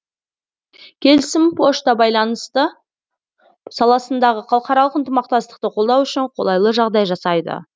келісім пошта байланысты саласындағы халықаралық ынтымақтастықты қолдау үшін қолайлы жағдай жасайды